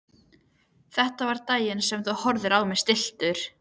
Þetta var daginn sem þú horfðir á mig stilltur.